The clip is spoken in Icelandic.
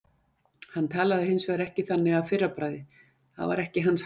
Hann talaði hins vegar ekki þannig að fyrra bragði, það var ekki hans háttur.